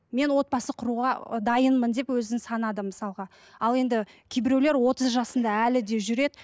мен отбасы құруға ы дайынмын деп өзін санады мысалға ал енді кейбіреулер отыз жасында әлі де жүреді